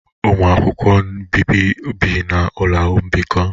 Ụmụ akwụkwọ nbibi bi na ụlọ mbikọ